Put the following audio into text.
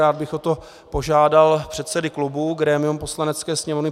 Rád bych o to požádal předsedy klubů, grémium Poslanecké sněmovny.